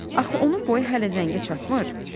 Axı onun boyu hələ zəngə çatmır?